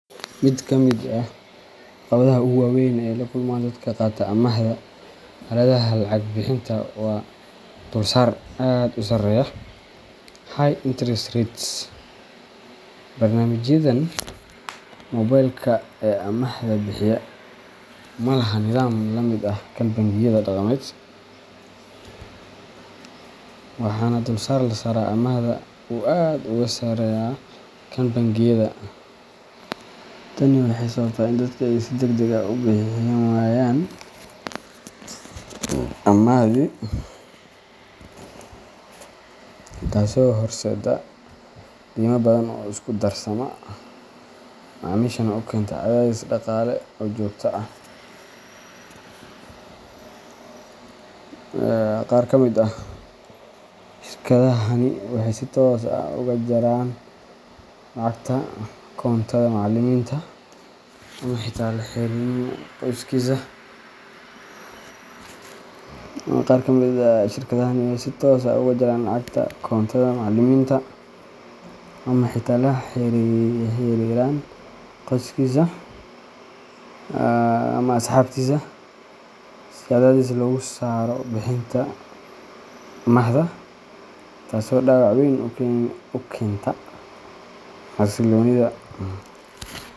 Mid ka mid ah caqabadaha ugu waa weyn ee ay la kulmaan dadka qaata amaahda aaladaha lacag-bixinta waa dulsaar aad u sarreeya high interest rates. Barnaamijyadan moobilka ee amaahda bixiya ma laha nidaam la mid ah kan bangiyada dhaqameed, waxaana dulsaar la saaraa amaahda uu aad uga sarreeyaa kan bangiyada. Tani waxay sababtaa in dadka ay si degdeg ah u bixin waayaan amaahdii, taasoo horseedda deyma badan oo isku darsama, macaamiishana u keenta cadaadis dhaqaale oo joogto ah. Qaar ka mid ah shirkadahani waxay si toos ah uga jaraan lacagta koontada macaamiliminta. ama xitaa la xiriiraan qoyskiisa ama asxaabtiisa si cadaadis loogu saaro bixinta amaahda, taasoo dhaawac weyn ku keenta xasilloonida.